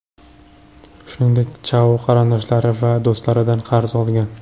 Shuningdek, Chao qarindoshlari va do‘stlaridan qarz olgan.